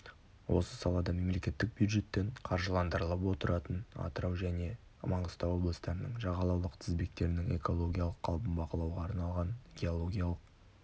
осы салада мемлекеттік бюджеттен қаржыландырылып отыратын атырау және маңғыстау облыстарының жағалаулық тізбектерінің экологиялық қалпын бағалауға арналған геологиялық